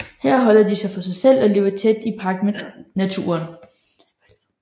Her holder de sig for sig selv og lever i tæt pagt med naturen